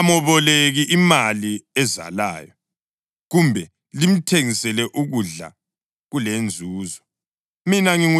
Lingameboleki imali ezalayo kumbe limthengisele ukudla kulenzuzo.